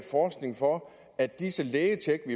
at disse lægetjek